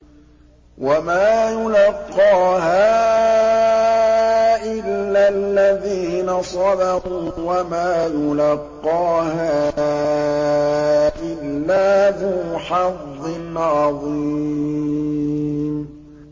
وَمَا يُلَقَّاهَا إِلَّا الَّذِينَ صَبَرُوا وَمَا يُلَقَّاهَا إِلَّا ذُو حَظٍّ عَظِيمٍ